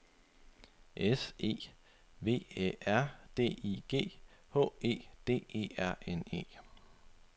S E V Æ R D I G H E D E R N E